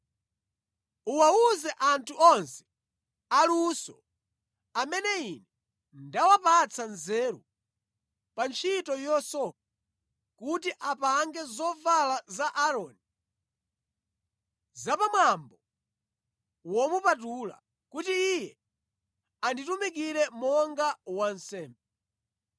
Uwawuze anthu onse aluso amene Ine ndawapatsa nzeru pa ntchito yosoka kuti apange zovala za Aaroni za pa mwambo womupatula, kuti iye anditumikire monga wansembe.